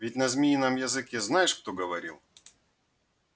ведь на змеином языке знаешь кто говорил